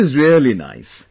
It is really nice